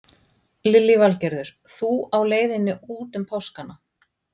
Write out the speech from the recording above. Lillý Valgerður: Þú á leiðinni út um páskana?